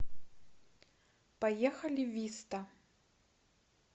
поехали виста